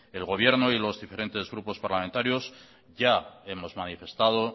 el gobierno y los diferentes grupos parlamentarios ya hemos manifestado